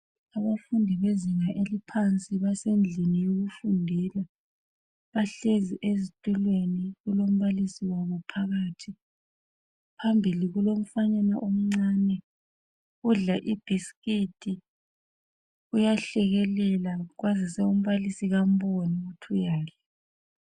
Abafundi bezinga eliphansi basendlini yokufundela bahlezi ezitulweni kulombalisi wabo phakathi. Phambili kulomfanyana omncane odla ibhisikiti uyahlekelela kwazise umbalisi kamboni ukuthi uyadla